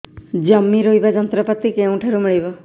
ଜମି ରୋଇବା ଯନ୍ତ୍ରପାତି କେଉଁଠାରୁ ମିଳିବ